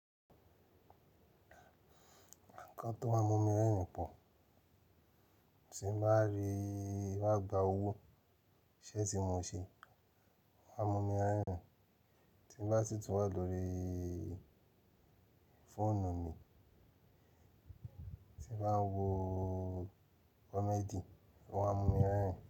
Ǹkan tó má ń mu mi rẹ́rìn pọ̀, tí ń bá rí I wá gba owó, iṣé tí mo ṣe, wọ́n á mu mi rẹ́rìn. Tí mo bá ti tún wà lórí fóònù mi, tí bá ń wo komedi, wọ́n á mu mi rẹ́rìn.